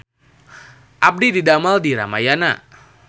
Abdi didamel di Ramayana